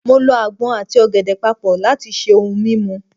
mo lọ agbọn ati ògèdè papọ lat ṣe ohun mímu